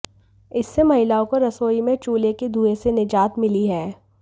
इससे महिलाओं को रसोई में चूल्हे के धुएं से निजात मिली है